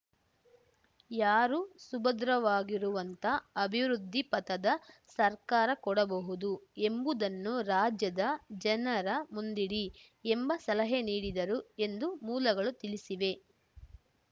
ಯಾರು ಸುಭದ್ರವಾಗಿರುವಂಥ ಅಭಿವೃದ್ಧಿಪಥದ ಸರ್ಕಾರ ಕೊಡಬಹುದು ಎಂಬುದನ್ನು ರಾಜ್ಯದ ಜನರ ಮುಂದಿಡಿ ಎಂಬ ಸಲಹೆ ನೀಡಿದರು ಎಂದು ಮೂಲಗಳು ತಿಳಿಸಿವೆ